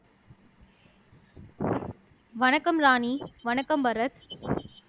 வணக்கம் ராணி வணக்கம் பாரத்